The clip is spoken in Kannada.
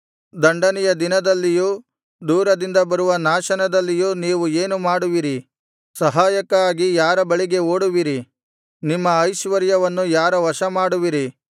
ದಂಡನೆಯ ದಿನದಲ್ಲಿಯೂ ದೂರದಿಂದ ಬರುವ ನಾಶನದಲ್ಲಿಯೂ ನೀವು ಏನು ಮಾಡುವಿರಿ ಸಹಾಯಕ್ಕಾಗಿ ಯಾರ ಬಳಿಗೆ ಓಡುವಿರಿ ನಿಮ್ಮ ಐಶ್ವರ್ಯವನ್ನು ಯಾರ ವಶಮಾಡುವಿರಿ